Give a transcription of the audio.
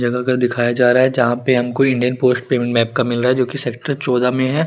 जगा का दिखाया जारा जहा पे हम कोई इंडियन पोस्ट पेमेंट मैप का मिलरा है जो की सेक्टर चउदा में है।